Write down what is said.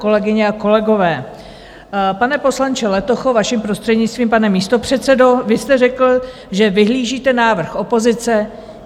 Kolegyně a kolegové, pane poslanče Letocho, vaším prostřednictvím, pane místopředsedo, vy jste řekl, že vyhlížíte návrh opozice.